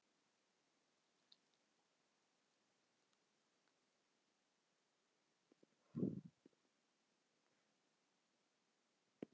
jaðrar þessarar myndar verða þó alltaf frekar óskýrir